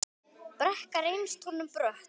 Brekka reynst honum brött.